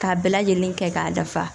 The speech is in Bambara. K'a bɛɛ lajɛlen kɛ k'a dafa